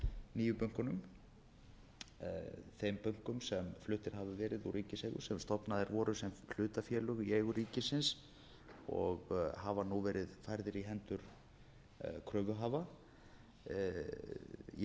nýju bönkunum þeim bönkum sem fluttir hafa verið úr ríkiseigu sem stofnaðir voru sem hlutafélög í eigu ríkisins og hafa nú verið færðir í hendur kröfuhafa í